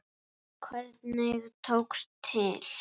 Hvernig tókst til?